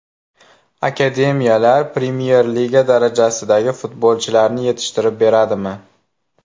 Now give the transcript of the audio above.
Akademiyalar Premyer Liga darajasidagi futbolchilarni yetishtirib beradimi?